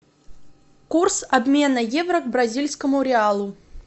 курс обмена евро к бразильскому реалу